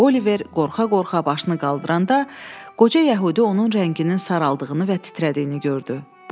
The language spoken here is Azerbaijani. Oliver qorxa-qorxa başını qaldıranda qoca yəhudi onun rənginin saraldığını və titrədiyini gördü.